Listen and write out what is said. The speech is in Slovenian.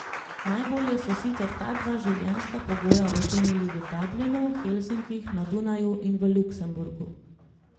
Najbolje so sicer ta dva življenjska pogoja ocenili v Dublinu, Helsinkih, na Dunaju in v Luksemburgu.